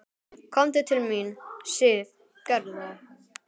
Komdu til mín, Sif, gerðu það.